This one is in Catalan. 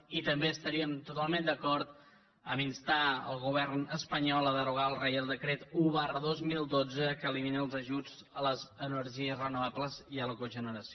i també estaríem totalment d’acord amb el fet d’instar el govern espanyol a derogar el reial decret un dos mil dotze que elimina els ajuts a les energies renovables i a la cogeneració